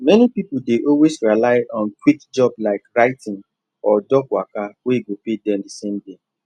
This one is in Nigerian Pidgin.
many people dey always rely on quick job like writing or dog waka wey go pay them the same day